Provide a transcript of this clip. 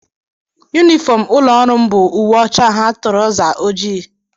Yunifọm ụlọọrụ m bụ uwe ọcha ha trọza ojii